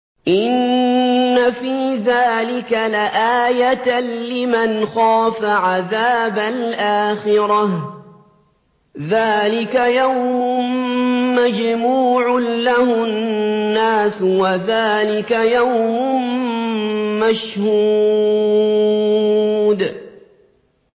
إِنَّ فِي ذَٰلِكَ لَآيَةً لِّمَنْ خَافَ عَذَابَ الْآخِرَةِ ۚ ذَٰلِكَ يَوْمٌ مَّجْمُوعٌ لَّهُ النَّاسُ وَذَٰلِكَ يَوْمٌ مَّشْهُودٌ